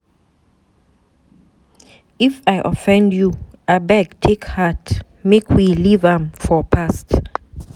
If I offend you abeg take heart. Make we leave am for past